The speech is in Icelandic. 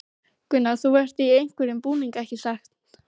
Gunnar: Þú ert í einhverjum búning, ekki satt?